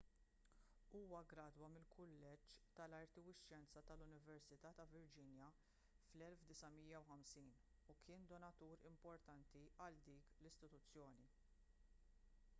huwa ggradwa mill-kulleġġ tal-arti u x-xjenza tal-università ta' virginia fl-1950 u kien donatur importanti għal dik l-istituzzjoni